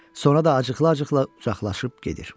Sonra da acıqla-acıqla uzaqlaşıb gedir.